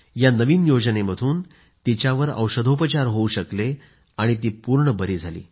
या नवीन योजनेमधून तिच्यावर औषधोपचार होऊ शकले ती पूर्ण बरी झाली